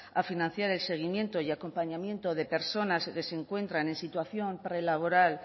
a financiar el seguimiento y acompañamiento de personas que se encuentran en situación prelaboral